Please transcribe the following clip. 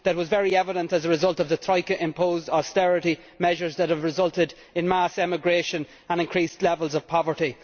That was very evident as a result of the Troika imposed austerity measures that have resulted in mass emigration and increased levels of poverty.